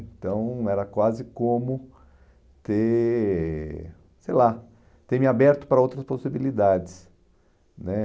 Então, era quase como ter, sei lá, ter me aberto para outras possibilidades né